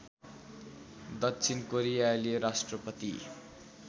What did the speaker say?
दक्षिण कोरियाली राष्ट्रपति